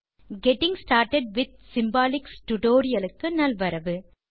getting started with symbolicsடியூட்டோரியல் க்கு நல்வரவு